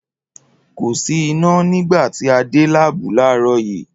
Kò sì iná nígbà tí a dé láàbù láàárọ̀ yìí